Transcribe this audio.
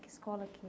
Que escola que é?